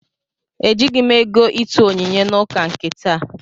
Ejighị m ego ịtụ onyinye n'ụka nke taa